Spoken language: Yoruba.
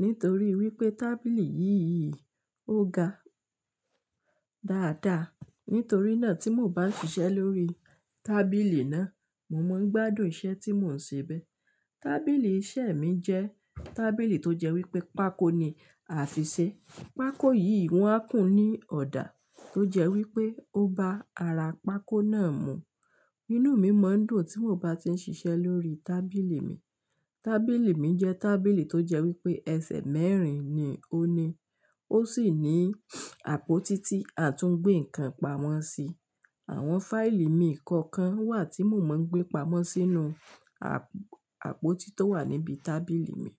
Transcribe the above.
Nítorí wípé tábìlì yìí ò ga dáadáa. Nítorí náà tí mò bá ń ṣiṣẹ́ lórí tábìlì náà, mo máa ń gbádùn iṣẹ́ tí mò ń ṣe bẹ́ẹ̀. Tábìlì iṣẹ́ mi jẹ́ tábìlì tó jẹ́ wípé pákó ni àfìṣe. Pákó yìí wọ́n á kún ní ọ̀dà tó jẹ́ wípé ó bá ara pákó náà mú. Inú mi máa ń dùn tí mò bá ti ń ṣiṣẹ́ lórí tábìlì mi. Tábìlì mi jẹ́ tábìlì tó jẹ́ wípé ẹsẹ̀ mẹ́rin ni ó ní. Ó sì ní àpótí tí a tún gbé nǹkan pamọ́ sí. Àwọn fáìlì mi kọ̀ọ̀kan wà tí mò mọ́ ń gbé pamọ́ sínú àp-àpótí tó wà níbi tábìlì mi.